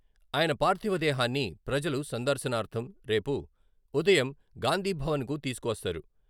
ఆయన పార్థివ దేహాన్ని ప్రజలు సందర్శనార్ధం రేపు ఉదయం గాంధీభవన్‌కు తీసుకువస్తారు.